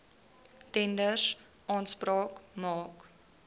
tenders aanspraak maak